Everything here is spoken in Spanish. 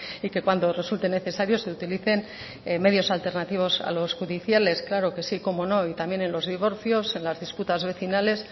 y que cuando resulte necesario se utilicen medios alternativos a los judiciales claro que sí cómo no y también en los divorcios en las disputas vecinales